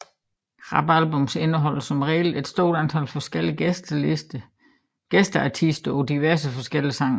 Rap albums indeholder som regel et stort antal forskellige gæsteartister på diverse forskellige sange